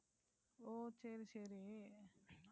ஓ சரி, சரி.